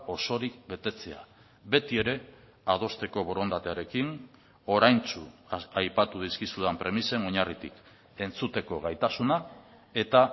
osorik betetzea beti ere adosteko borondatearekin oraintsu aipatu dizkizudan premisen oinarritik entzuteko gaitasuna eta